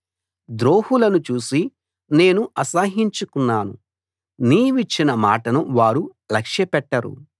ద్రోహులను చూసి నేను అసహ్యించుకున్నాను నీవిచ్చిన మాటను వారు లక్ష్యపెట్టరు